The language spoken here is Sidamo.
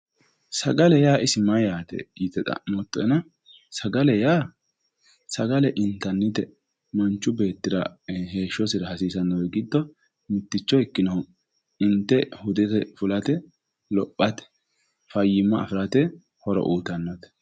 sagalete yaa isi mayyaate yite xa'moottoena sagale yaa sagalete intannite manchu beettira heeshshosira hasiisannori giddo mitticho ikkinohu inte hudete fulate lophatefayyimma afirate horo uyiitannote.